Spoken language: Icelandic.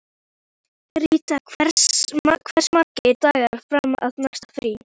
Ríta, hversu margir dagar fram að næsta fríi?